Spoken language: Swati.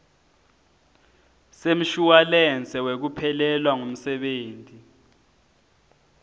semshuwalensi wekuphelelwa ngumsebenti